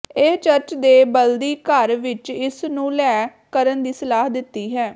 ਇਹ ਚਰਚ ਦੇ ਬਲਦੀ ਘਰ ਵਿੱਚ ਇਸ ਨੂੰ ਲੈ ਕਰਨ ਦੀ ਸਲਾਹ ਦਿੱਤੀ ਹੈ